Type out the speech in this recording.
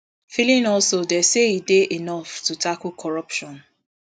feeling also dey say e dey enough to tackle corruption